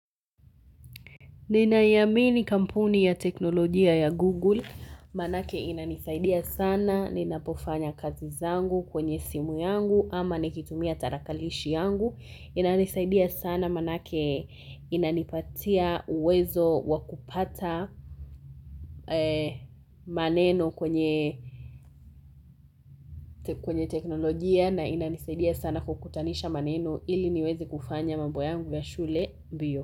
Ninaiamini kampuni ya teknolojia ya Google, manake inanisaidia sana, ninapofanya kazi zangu kwenye simu yangu ama nikitumia tarakalishi yangu, inanisaidia sana manake inanipatia uwezo wakupata maneno kwenye teknolojia na inanisaidia sana kukutanisha maneno ili niweze kufanya mambo yangu ya shule mbio.